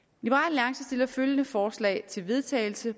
til af følgende forslag til vedtagelse